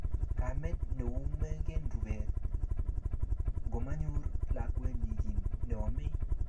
Kamet nemoungen rubet ngomanyor lakwenyi kiy neomei